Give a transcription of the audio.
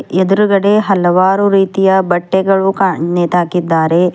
ಎದ್ರುಗಡೆ ಹಲವಾರು ರೀತಿಯ ಬಟ್ಟೆಗಳು ಕಾ ನೇತಾಕಿದ್ದಾರೆ.